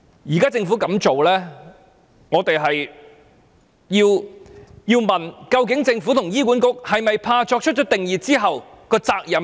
對於政府現時的做法，我們不禁要問，政府和醫管局是否擔心作出定義後引發的責任？